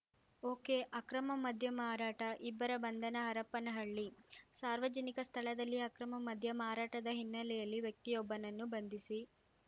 ಒಕೆಅಕ್ರಮ ಮದ್ಯ ಮಾರಾಟ ಇಬ್ಬರ ಬಂಧನ ಹರಪನಹಳ್ಳಿ ಸಾರ್ವಜನಿಕ ಸ್ಥಳದಲ್ಲಿ ಅಕ್ರಮ ಮದ್ಯ ಮಾರಾಟದ ಹಿನ್ನೆಲೆಯಲ್ಲಿ ವ್ಯಕ್ತಿಯೊಬ್ಬನನ್ನು ಬಂಧಿಸಿ